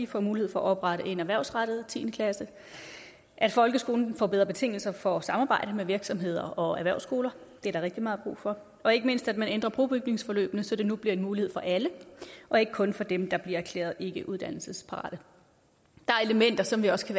får mulighed for at oprette en erhvervsrettet tiende klasse at folkeskolen får bedre betingelser for samarbejde med virksomheder og erhvervsskoler det er der rigtig meget brug for og ikke mindst at man ændrer brobygningsforløbene så det nu bliver en mulighed for alle og ikke kun for dem der bliver erklæret ikkeuddannelsesparate der er elementer som vi også